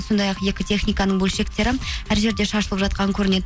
сондай ақ екі техниканың бөлшектері әр жерде шашылып жатқан көрінеді